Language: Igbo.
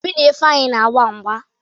Obi na Ifeanyị na-agba mgba.